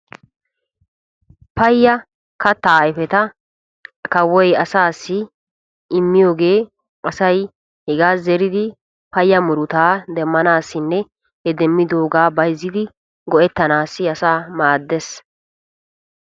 Paya katta ayfetta kawoy asaassi immiyooge asay hegaa zeriddi paya murutta demanassinne bantta go'ettanassi.